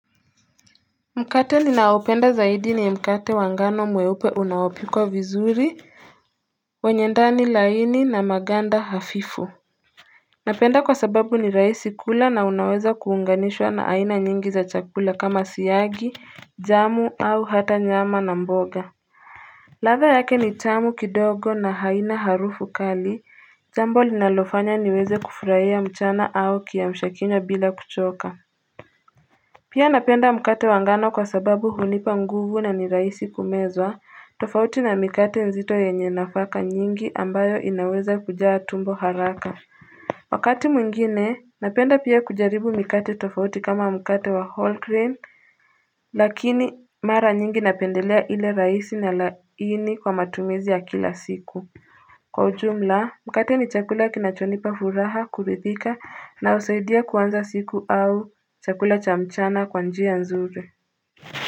Mkate ninaopenda zaidi ni mkate wangano mweupe unaopikwa vizuri Wenyendani laini na maganda hafifu Napenda kwa sababu ni raisi kula na unaweza kuunganishwa na haina nyingi za chakula kama siyagi jamu au hata nyama na mboga latha yake ni tamu kidogo na haina harufu kali jambo linalofanya niweze kufurahia mchana au kia mshakinywa bila kuchoka Pia napenda mkate wangano kwa sababu hunipa nguvu na ni raisi kumezwa tofauti na mikate nzito yenye nafaka nyingi ambayo inaweza kujaa tumbo haraka Wakati mwingine napenda pia kujaribu mikate tofauti kama mkate wa Holcrain lakini mara nyingi napendelea ile raisi na laini kwa matumizi ya kila siku Kwa ujumla mkate ni chakula kinachonipa furaha kuridhika na usaidia kuanza siku au chakula cha mchana kwa njia nzuri.